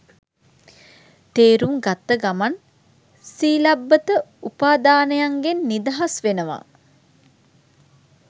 තේරුම් ගත්ත ගමන් සීලබ්බත උපාදානයන්ගෙන් නිදහස් වෙනවා